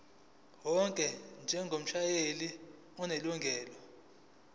wakho njengomshayeli onelungelo